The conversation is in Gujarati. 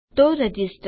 તો રજીસ્ટર